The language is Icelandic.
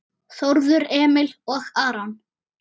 Þórður Emil og Aron